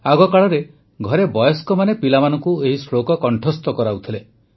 ଆଗ କାଳରେ ଘରେ ବୟସ୍କମାନେ ପିଲାମାନଙ୍କୁ ଏହି ଶ୍ଳୋକ କଣ୍ଠସ୍ଥ କରାଉଥିଲେ